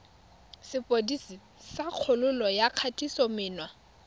sepodisi sa kgololo ya kgatisomenwa